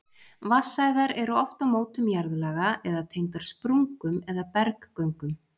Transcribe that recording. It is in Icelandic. Vatnsæðar eru oft á mótum jarðlaga eða tengdar sprungum eða berggöngum.